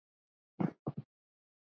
Börnin urðu átta.